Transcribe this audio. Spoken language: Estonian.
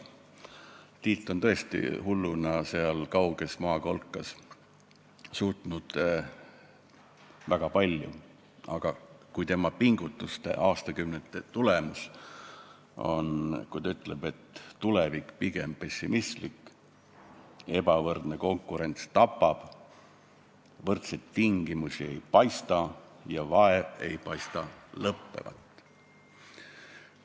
Tiit on tõesti hulluna seal kauges maakolkas väga palju suutnud, aga ka tema aastakümneid kestnud pingutuste tulemuseks on ütlused, et tulevik on pigem pessimistlik, ebavõrdne konkurents tapab, võrdseid tingimusi ei paista ja vaev ei paista lõppevat.